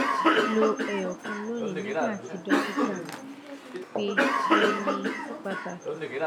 lo eyokan loni nigba ti dokita pe fe ni pataki